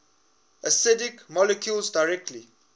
acidic molecules directly